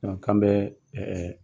k'an bɛ ɛɛ